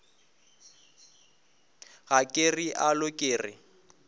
ga ke realo ke re